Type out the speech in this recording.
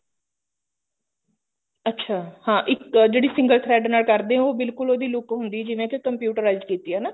ਅੱਛਾ ਹਾਂ ਇੱਕ ਜਿਹੜੀ single thread ਨਾਲ ਕਰਦੇ ਹੋ ਬਿਲਕੁਲ ਉਹਦੀ look ਹੁੰਦੀ ਹੈਂ ਜਿਵੇਂ ਕਿ computerized ਕੀਤੀ ਐ ਹਨਾ